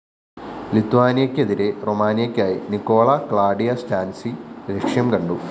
ലിത്വാനിയയ്‌ക്കെതിരെ റൊമാനിയയ്ക്കായി Nicola Claudia Stanciu ലക്ഷ്യം കണ്ടു